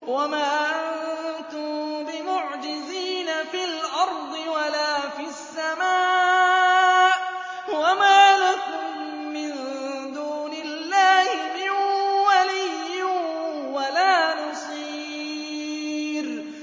وَمَا أَنتُم بِمُعْجِزِينَ فِي الْأَرْضِ وَلَا فِي السَّمَاءِ ۖ وَمَا لَكُم مِّن دُونِ اللَّهِ مِن وَلِيٍّ وَلَا نَصِيرٍ